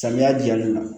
Samiya diyali la